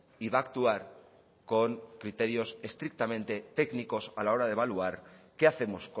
y va a actuar con criterios estrictamente técnicos a la hora de evaluar qué hacemos